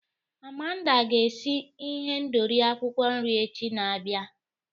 Amanda ga-esi ihendori akwukwo nri echi na-abịa.